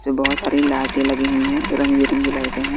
से बहोत सारी लाइटे लगी हुई हैं रंग-बिरंगी लाइटें हैं।